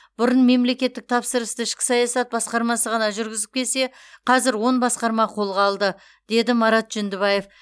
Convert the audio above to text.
бұрын мемлекеттік тапсырысты ішкі саясат басқармасы ғана жүргізіп келсе қазір он басқарма қолға алды деді марат жүндібаев